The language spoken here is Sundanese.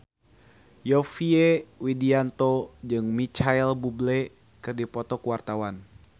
Yovie Widianto jeung Micheal Bubble keur dipoto ku wartawan